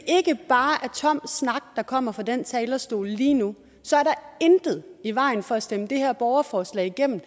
ikke bare er tom snak der kommer fra den talerstol lige nu så er der intet i vejen for at stemme det her borgerforslag igennem